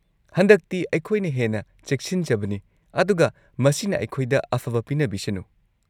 ꯍꯟꯗꯛꯇꯤ, ꯑꯩꯈꯣꯏꯅ ꯍꯦꯟꯅ ꯆꯦꯛꯁꯤꯟꯖꯕꯅꯤ ꯑꯗꯨꯒ ꯃꯁꯤꯅ ꯑꯩꯈꯣꯏꯗ ꯑꯐꯕ ꯄꯤꯅꯕꯤꯁꯅꯨ꯫